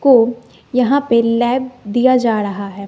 को यहां पे लैब दिया जा रहा है।